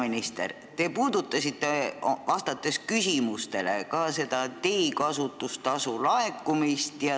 Austatud peaminister, vastates küsimustele, puudutasite ka teekasutustasu laekumise teemat.